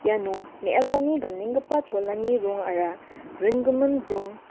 iano me·asani ganenggipa cholani rongara bringimin rong--